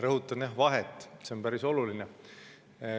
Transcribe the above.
Rõhutan vahet, see on päris oluline.